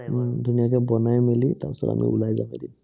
উম ধুনীয়াকে বনাই মেলি, তাৰপিছত আমি ওলাই যাব লাগিব।